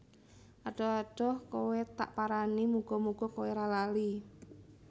Adoh adoh kowe tak parani muga muga kowe ra lali